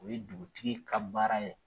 O ye dugutigi ka baara ye.